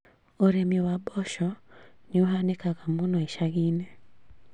ũrĩmi wa mboco nĩũhanĩkaga mũno icagi-inĩ